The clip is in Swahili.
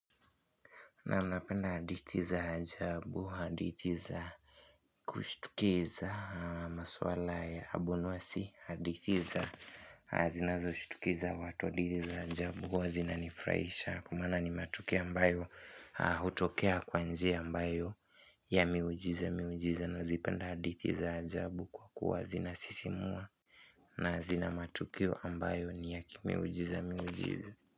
Naam napenda hadithi za ajabu, hadithi za kushtukiza masuala ya abunuwasi, hadithi zinazoshitusha watu, hadithi za ajabu, huwa zinanifurahisha kwa maana ni matukio ambayo hutokea kwa njia ambayo ya miujiza miujiza na huzipenda hadithi za ajabu kwa kuwa zinasisimua na zina matukio ambayo ni ya kimiujiza miujiza.